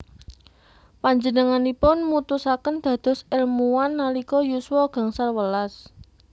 Panjenenganipun mutusaken dados èlmuwan nalika yuswa gangsal welas